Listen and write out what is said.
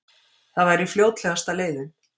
Það væri fljótlegasta leiðin